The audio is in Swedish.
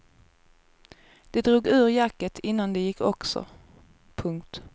De drog ur jacket innan de gick också. punkt